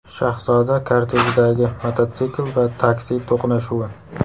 Shahzoda kortejidagi mototsikl va taksi to‘qnashuvi.